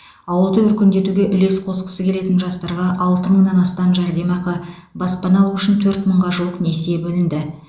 ауылды өркендетуге үлес қосқысы келетін жастарға алты мыңнан астам жәрдемақы баспана алу үшін төрт мыңға жуық несие бөлінді